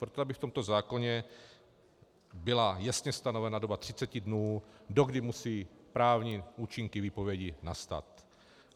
Proto, aby v tomto zákoně byla jasně stanovena doba 30 dnů, dokdy musí právní účinky výpovědi nastat.